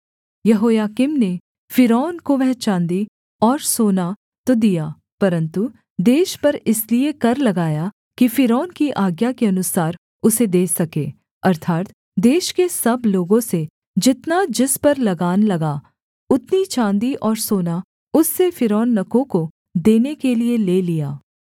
यहोयाकीम ने फ़िरौन को वह चाँदी और सोना तो दिया परन्तु देश पर इसलिए कर लगाया कि फ़िरौन की आज्ञा के अनुसार उसे दे सके अर्थात् देश के सब लोगों से जितना जिस पर लगान लगा उतनी चाँदी और सोना उससे फ़िरौननको को देने के लिये ले लिया